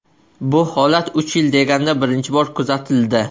Bu holat uch yil deganda birinchi bor kuzatildi.